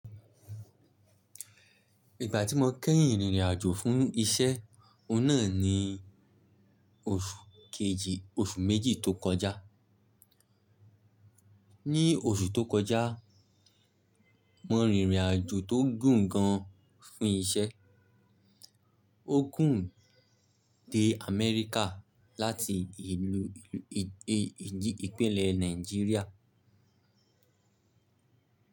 Ìgbà tí mo kẹ́yìn rìnrìn àjò fún iṣẹ́ oun náà ni oṣù kejì oṣù méjì tó kọjá. Ni oṣù tó kọjá, mo rìnrìn àjò tó gùn gan fún iṣẹ́. Ó gùn dé Amẹ́ríkà láti ìpínlẹ̀ Nàìjíríà.